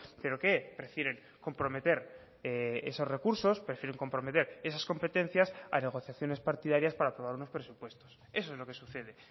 pero qué prefieren comprometer esos recursos prefieren comprometer esas competencias a negociaciones partidarias para aprobar unos presupuestos eso es lo que sucede